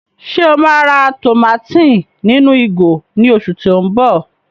Ṣe o ma rà tùmátìn ninu ìgò ni oṣù ti o mbọ?